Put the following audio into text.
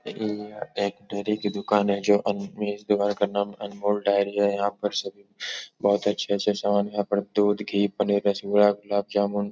यह एक डेरी की दुकान है जो इस दुकान का नाम अनमोल डायरी है। यहां पर सभी बोहोत अच्छे-अच्छे सामान यहाँ पर दूध घी पनीर रसगुल्ला गुलाब जामुन --